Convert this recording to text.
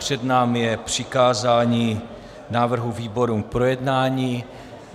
Před námi je přikázání návrhu výborům k projednání.